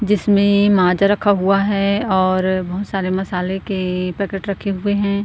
जिसमें माजा रखा हुआ है और बहुत सारे मसाले के पैकेट रखे हुए हैं।